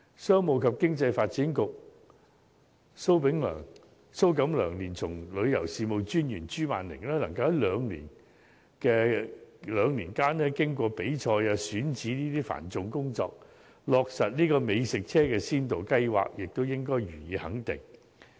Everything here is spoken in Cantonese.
商務及經濟發展局局長蘇錦樑連同旅遊事務專員朱曼鈴能夠在兩年間經過比賽及選址等繁重工作，落實美食車先導計劃，也應予以肯定。